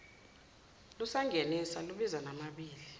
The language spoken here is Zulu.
lusangenisa luza namabibi